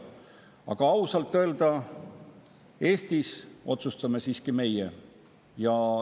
Aga ausalt öelda, Eestis otsustame siiski meie.